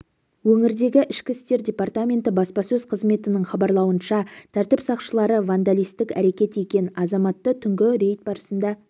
өңірдегі ішкі істер департаменті баспасөз қызметінің хабарлауынша тәртіп сақшылары вандалистік әрекет еткен азаматты түнгі рейд барысында